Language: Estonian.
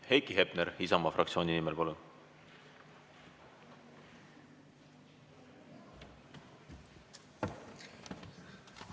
Heiki Hepner Isamaa fraktsiooni nimel, palun!